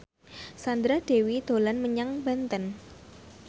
Sandra Dewi dolan menyang Banten